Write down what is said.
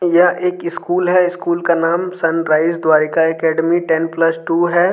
यह एक स्कूल है। स्कूल का नाम sunrise Dwarika academy ten plus two है।